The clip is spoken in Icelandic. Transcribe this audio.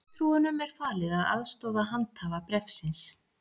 Fulltrúunum er falið að aðstoða handhafa bréfsins